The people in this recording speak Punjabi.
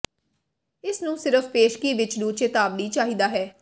ਇਸ ਨੂੰ ਸਿਰਫ ਪੇਸ਼ਗੀ ਵਿੱਚ ਨੂੰ ਚੇਤਾਵਨੀ ਚਾਹੀਦਾ ਹੈ